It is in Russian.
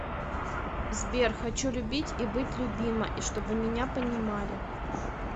сбер хочу любить и быть любима и чтобы меня понимали